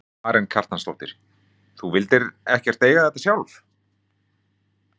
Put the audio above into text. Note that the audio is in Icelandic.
Karen Kjartansdóttir: Þú vildir ekkert eiga þetta sjálf?